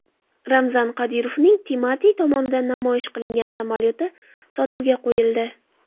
Ramzan Qodirovning Timati tomonidan namoyish qilingan samolyoti sotuvga qo‘yildi.